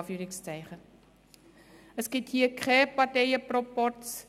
Es gibt hier keinen Parteienproporz.